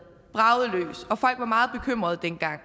bragede løs og folk var meget bekymrede dengang